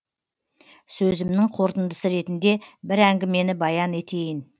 сөзімнің қорытындысы ретінде бір әңгімені баян етейін